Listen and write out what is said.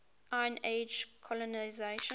iron age colonisation